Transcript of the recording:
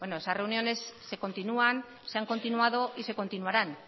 bueno esas reuniones se continúan se han continuado y se continuaran